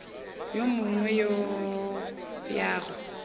yo mongwe go ya go